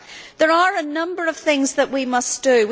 There are a number of things that we must do.